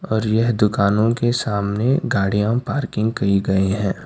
और यह दुकानों के सामने गाड़ियां पार्किंग कयी गई हैं।